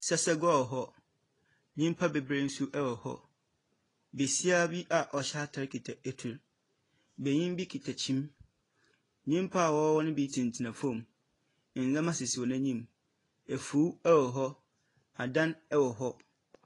Sɛsɛgua wɔ hɔ. Nyimpa beberee nso wɔ hɔ. Besia bi a ɔhyɛ atar kita etuw. Benyin bi kita kyim. Nyimpa wɔwɔ hɔ no bi tsenatsena fam. Ndzɛmba sisi hɔn enyim. Efuw wɔ hɔ. Adan wɔ hɔ.